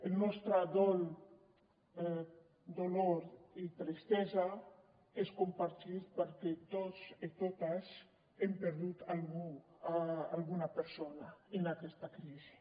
el nostre dolor i tristesa és compartit perquè tots i totes hem perdut alguna persona en aquesta crisi